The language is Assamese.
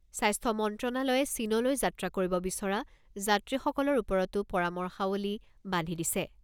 স্বাস্থ্য মন্ত্ৰণালয়ে চীনলৈ যাত্ৰা কৰিব বিচৰা যাত্ৰীসকলৰ ওপৰতো পৰামৰ্শাৱলী বান্ধি দিছে।